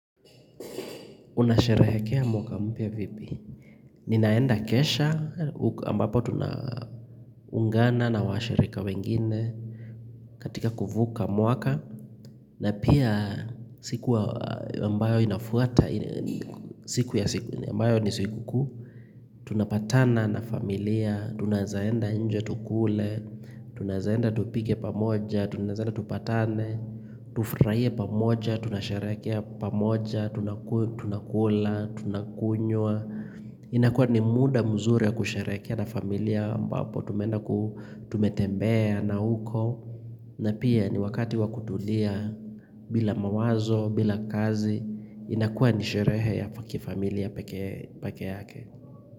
Unasherehekea mwaka mpya vipi? Ninaenda kesha ambapo tunaungana na washirika wengine katika kuvuka mwaka na pia siku ambayo inafuata siku ya siku ambayo ni sikukuu Tunapatana na familia, tunaezaenda nje tukule tunaeza enda tupike pamoja, tunaeza enda tupatane tufurahie pamoja, tunasherekea pamoja Tunakula, tunakunywa inakua ni muda mzuri wa kusherehekea na familia ambapo tumeenda ku tumetembea na huko na pia ni wakati wa kutulia bila mawazo, bila kazi inakua ni sherehe ya kifamilia peke yake.